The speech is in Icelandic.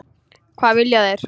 Hvað vilja þeir?